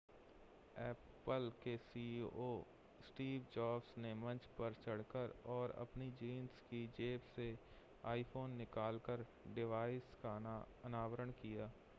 apple के CEO Steve Jobs ने मंच पर चढ़ कर और अपनी जींस की जेब से आईफ़ोन निकालकर डिवाइस का अनावरण किया